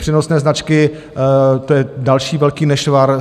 Přenosné značky - to je další velký nešvar.